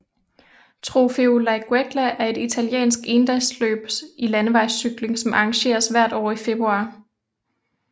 Trofeo Laigueglia er et italiensk endagsløb i landevejscykling som arrangeres hvert år i februar